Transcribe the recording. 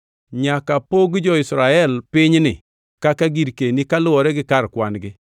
“Nyaka pog jo-Israel pinyni kaka girkeni kaluwore gi kar kwan-gi.